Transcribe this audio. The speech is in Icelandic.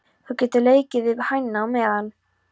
Þú getur leikið við hænuna á meðan!